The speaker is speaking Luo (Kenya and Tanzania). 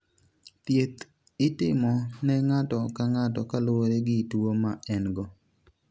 Thieth itimo ne ng'ato ka ng'ato kaluwore gi tuwo ma en-go.